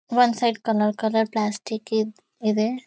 ಒಂದ್ side colour colour plastic ಈದ್ ಇದೆ.